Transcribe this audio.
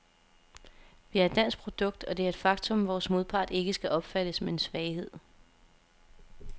Vi er et dansk produkt, og det er et faktum, vores modpart ikke skal opfatte som en svaghed.